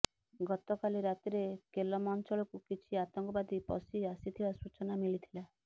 ଗତକାଲି ରାତିରେ କେଲମ ଅଞ୍ଚଳକୁ କିଛି ଆତଙ୍କବାଦୀ ପଶି ଆସିଥିବା ସୂଚନା ମିଳିଥିଲା